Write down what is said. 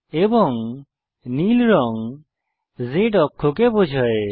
এবং নীল রঙ Z অক্ষকে বোঝায়